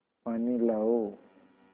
पानी लाओ